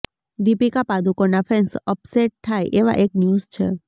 દીપિકા પાદુકોણના fans upset થાય એવા એક ન્યૂઝ છે